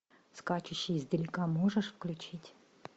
скачущий издалека можешь включить